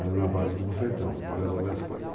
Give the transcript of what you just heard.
Era na base do bufetão, para resolver as coisas.